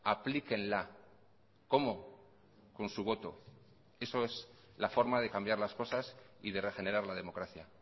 aplíquenla cómo con su voto eso es la forma de cambiar las cosas y de regenerar la democracia